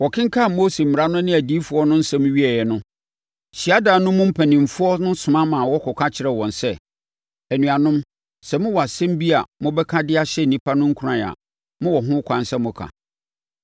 Wɔkenkan Mose Mmara no ne Adiyifoɔ no nsɛm wieeɛ no, hyiadan no mu mpanimfoɔ no soma kɔka kyerɛɛ wɔn sɛ, “Anuanom, sɛ mowɔ asɛm bi a mobɛka de ahyɛ nnipa no nkuran a, mowɔ ho kwan sɛ moka.”